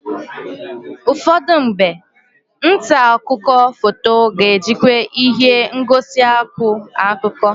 Ụfọdụ mgbe, nta akụkọ foto ga-ejikwa ihe ngosi akụ akụkọ.